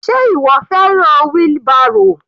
Sé ìwọ fẹ́ràn wheelbarrow?